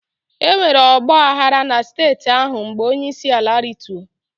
Enwere ọgba aghara na steeti ahụ mgbe onyeisiala rituo.